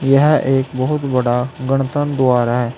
यह एक बहुत बड़ा गणतंत्र द्वार है।